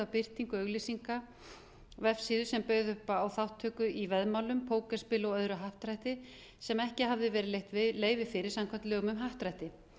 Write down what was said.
birtingu auglýsingavefsíðu sem bauð upp á þátttöku í veðmálum pókerspili og öðru happdrætti sem ekki hafði verið veitt leyfi fyrir samkvæmt lögum um happdrætti